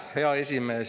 Hea esimees!